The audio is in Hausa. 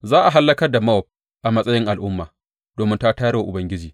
Za a hallakar da Mowab a matsayin al’umma domin ta tayar wa Ubangiji.